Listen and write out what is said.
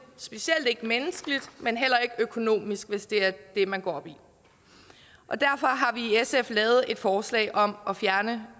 specielt ikke menneskeligt men heller ikke økonomisk hvis det er det man går op i og derfor har sf lavet et forslag om at fjerne